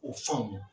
O faamu